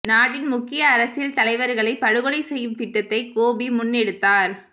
நாட்டின் முக்கிய அரசியல் தலைவர்களை படுகொலை செய்யும் திட்டத்தை கோபி முன்னெடுத்தார்